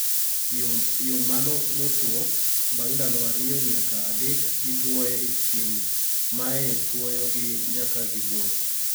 yo mano motuo; bang' ndalo ariyo nyaka adek kitwoye e chieng' mae tuoyo gi nyaka gimuoch